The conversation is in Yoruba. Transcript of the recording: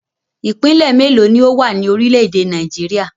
Ìpínlẹ̀ mélòó ni ó wà ní orílẹ̀-èdè Nàìjíríà?